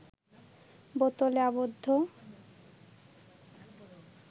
বোতলে আবদ্ধ